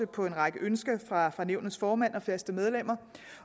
på en række ønsker fra fra nævnets formand og faste medlemmer